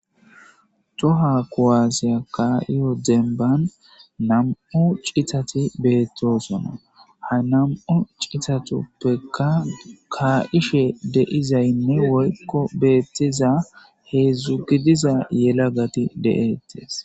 Toha kuuasse kayidemban namu ciththati beththosona ha namu ciththatuppeka kaasishshe deiza n woyko bettiza hezhu gidiza yellagati deettess.